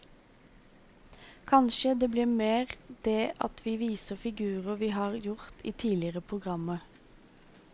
Kanskje det blir mer det at vi viser figurer vi har gjort i tidligere programmer.